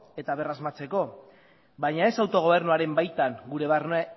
eta berrasmatzeko baina ez autogobernuaren baitan gure